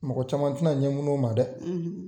Mɔgɔ caman te na ɲɛ munu o ma dɛ!